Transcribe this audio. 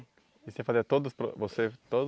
E você fazia todos os pro você